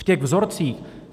V těch vzorcích.